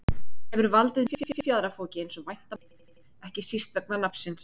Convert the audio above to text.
hafði valdið miklu fjaðrafoki eins og vænta mátti, ekki síst vegna nafnsins.